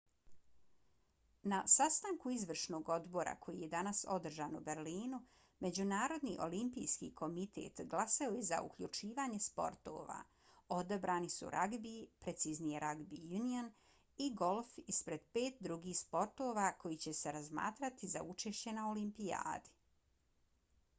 na sastanku izvršnog odbora koji je danas održan u berlinu međunarodni olimpijski komitet glasao je za uključivanje sportova. odabrani su ragbi preciznije rugby union i golf ispred pet drugih sportova koji će se razmatrati za učešće na olimpijadi